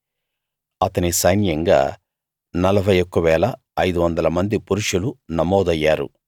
అతని సైన్యంగా 41 500 మంది పురుషులు నమోదయ్యారు